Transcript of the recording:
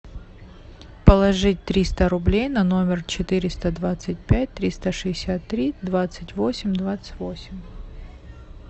положить триста рублей на номер четыреста двадцать пять триста шестьдесят три двадцать восемь двадцать восемь